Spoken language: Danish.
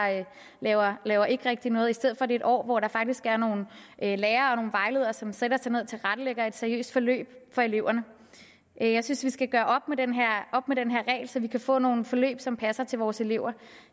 laver laver ikke rigtig noget i stedet for det et år hvor der faktisk er nogle lærere og nogle vejledere som sætter sig ned og tilrettelægger et seriøst forløb for eleverne jeg synes at vi skal gøre op med den her regel så vi kan få nogle forløb som passer til vores elever